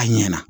A ɲɛna